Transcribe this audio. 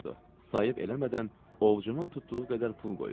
Sayıb eləmədən ovucunun tutduğu qədər pul qoyurdu.